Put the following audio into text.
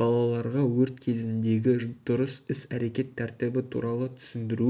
балаларға өрт кезіндегі дұрыс іс-әрекет тәртібі туралы түсіндіру